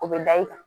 O bɛ da i kan